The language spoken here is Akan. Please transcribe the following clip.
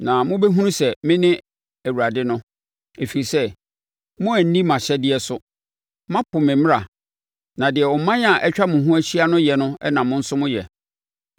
Na mobɛhunu sɛ mene Awurade no, ɛfiri sɛ, moanni mʼahyɛdeɛ so, moapo me mmara, na deɛ aman a atwa mo ahyia no yɛ no na mo nso moyɛ.”